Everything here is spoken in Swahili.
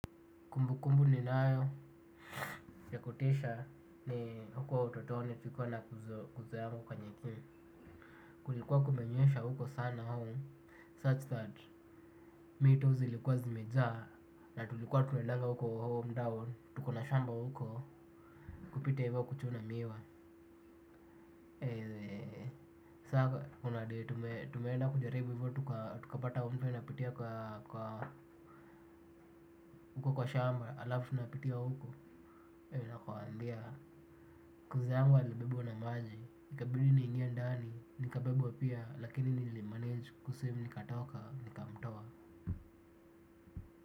Kumbukumbu ninayo ya kutisha ni hukuwa utotoni tulikuwa na cuzo nyangu kwa nyekimu. Kulikuwa kumenyesha huko sana huu Such that me tu zilikuwa zimejaa na tulikuwa tunaendanga huko home down. Tukona shamba huko kupita hivyo kuchuna miwa. Sasa unaday tumeenda kujaribu hivyo tukaa tukapata mto inapitia kwa huko kwa shamba alafu unapitia huko nakuambia cuzo yangu alibebwa na maji ikabidi niingie ndanii. Nikabebwa pia lakini nilimanage Kuswim nikatoka nikamtoa.